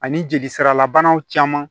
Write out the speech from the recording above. Ani jeli siralabanaw caman